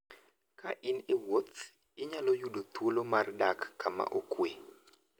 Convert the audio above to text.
Ka in e wuoth, inyalo yudo thuolo mar dak kama okuwe.